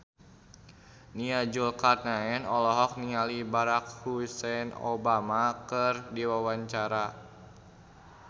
Nia Zulkarnaen olohok ningali Barack Hussein Obama keur diwawancara